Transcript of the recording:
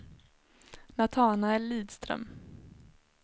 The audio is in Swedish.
Natanael Lidström